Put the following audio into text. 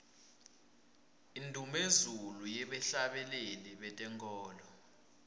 indumezulu yebahhlabeleli betenkholo